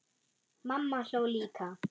Mamma hló líka.